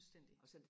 fuldstændig